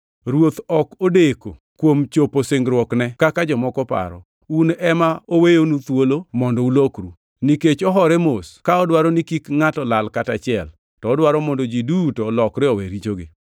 Ruoth ok odeko kuom chopo singruokne, kaka jomoko paro. Un ema oweyonu thuolo mondo ulokru, nikech ohore mos ka odwaro ni kik ngʼato lal kata achiel, to odwaro mondo ji duto olokre owe richogi.